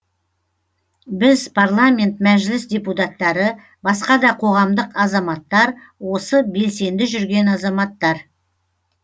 біз парламент мәжіліс депутаттары басқа да қоғамдық азаматтар осы белсенді жүрген азаматтар